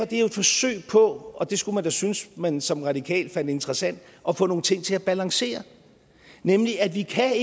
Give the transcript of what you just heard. det jo et forsøg på og det skulle man da synes man som radikal fandt interessant at få nogle ting til at balancere nemlig at vi ikke kan